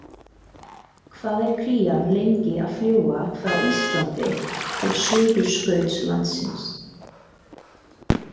Hvað er krían lengi að fljúga frá Íslandi til Suðurskautslandsins?